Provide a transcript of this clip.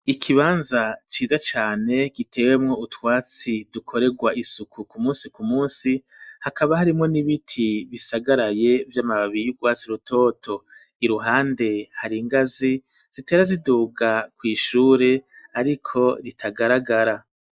Ikibanza ciza cane gitewemwo utwatsi dukoregwa isuku ku musi ku musi, hakaba harimwo n'ibiti bisagaraye vy'amababi y'urwatsi rutoto. Iruhande hari ingazi zitera ziduga kw'ishure ariko ritagaragara.